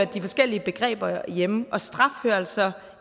de forskellige begreber hører hjemme straf hører altså